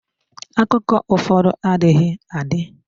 Akụkọ ụfọdụ adịghị adị.